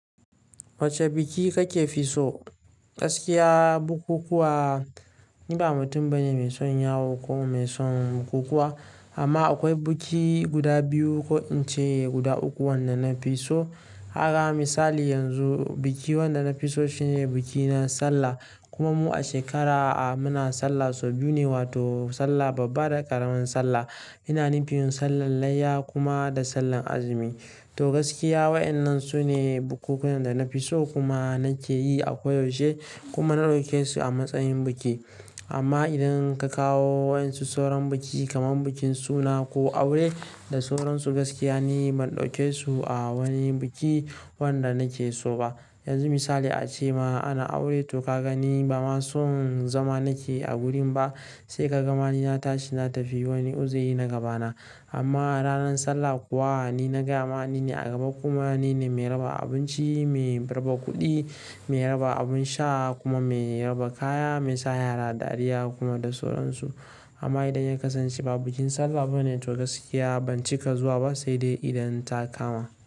Wacce biki kake so? Gaskiya bukukuwa ni ba mutum bane mai son yawo ko mai son bukukuwa. Amma akwai biki guda biyu ko in ce guda uku wanda na fi so. Haka misali yanzu, biki wanda na fi so shine biki na Sallah. Kuma mu a shekara a muna Sallah sau biyu ne, wato Sallah babba da ƙaramin Sallah. Ina nufin Sallar layya kuma da Sallar azumi. To gaskiya waɗannan su ne bukukuwan da na fi so kuma na ke yi a koyaushe kuma na ɗauke su a matsayin biki. Amma idan ka kawo waɗansu sauran biki kamar bikin suna ko aure da sauran su, gaskiya ne ban ɗauke su a wani biki wanda na ke so ba. Yanzu misali a ce ma ana aure to ka ga ni ba ma son zama na ke a gurin ba, sai ka ga ma ni na tashi na tafi wani uzuri na gabana. Amma ranar Sallah kuwa ni na gaya ma ni ne a gaba kuma ni ne mai raba abinci, mai raba kuɗi, mai raba abin sha kuma mai raba kaya, mai sa yara dariya kuma da sauran su. Amma idan ya kasance ba bikin Sallah bane to gaskiya ban cika zuwa ba sai dai idan ta kama.